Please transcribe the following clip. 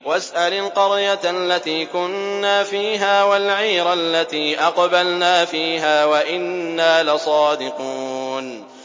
وَاسْأَلِ الْقَرْيَةَ الَّتِي كُنَّا فِيهَا وَالْعِيرَ الَّتِي أَقْبَلْنَا فِيهَا ۖ وَإِنَّا لَصَادِقُونَ